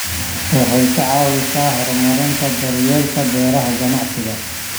Waxay ka caawisaa horumarinta daryeelka beeraha ganacsiga.